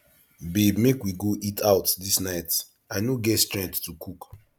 babe make we go eat out dis night i no get strength to cook